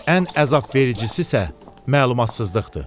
ən əzabvericisissə məlumatsızlıqdır.